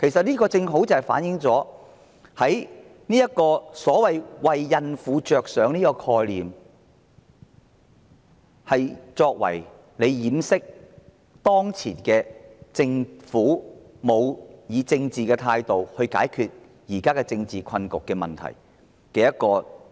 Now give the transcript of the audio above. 這正好反映所謂為孕婦着想的說法，其實只是遮羞布，藉以掩飾政府沒有以政治手段解決當前政治困局和問題的事實。